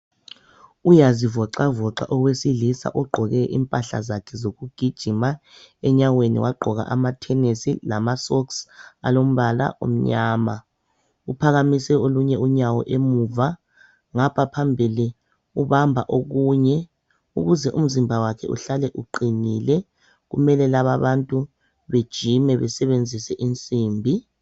Uyazivoxavoxa owesilisa, ogqoke impahla zakhe zokugijima. Enyaweni wagqoka amathenesi lamasocks alombala omnyama. Uphakamise olunye unyawo emuva. Ngapha phambili, ubamba okunye. Ukuze umzimba wakhe uhlale uqinile, kumele lababantu, bejime. Besebenzise insimbi.